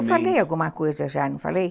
Eu falei alguma coisa já, não falei?